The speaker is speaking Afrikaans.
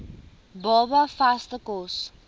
baba vaste kos